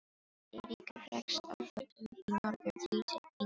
Eiríkur hrekst frá völdum í Noregi og flýr til Englands.